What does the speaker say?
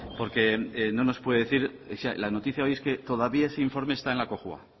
porque no nos puede decir la noticia hoy es que todavía ese informe está en la cojua